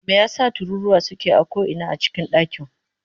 Me yasa tururuwa suke a ko'ina a cikin dakin?